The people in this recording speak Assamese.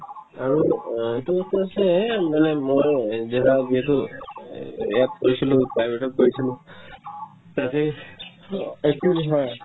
আৰু অ এইটোতো আছেই মানে মই java যিহেতু এ ~ app কৰিছিলো private তত কৰিছিলো তাতে yawning একো নিশিকাই